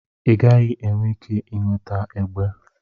Ị gaghị enwe ike ị nweta egbe.